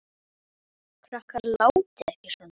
Krakkar látiði ekki svona!